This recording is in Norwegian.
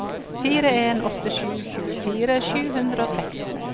fire en åtte sju tjuefire sju hundre og seksten